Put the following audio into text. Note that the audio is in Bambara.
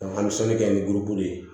an bɛ sɛbɛnni kɛ ni guloguru ye